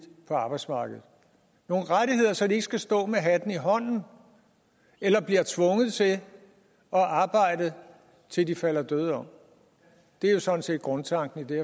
på arbejdsmarkedet så de ikke skal stå med hatten i hånden eller blive tvunget til at arbejde til de falder døde om det er jo sådan set grundtanken i det